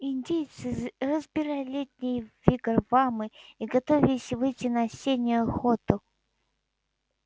индейцы разбирали летние вигвамы и готовились выйти на осеннюю охоту